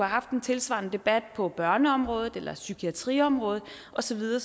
haft en tilsvarende debat på børneområdet psykiatriområdet og så videre